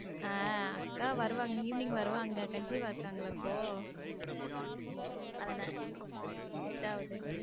ஹம் அக்கா வருவாங்க evening வருவாங்க conceive ஆ இருகங்கள இப்போ அதுனால எட்டாவது.